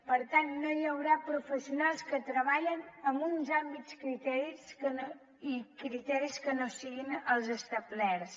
per tant no hi haurà professionals que treballin amb uns altres criteris que no siguin els establerts